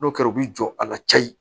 N'o kɛra u bi jɔ a la cayi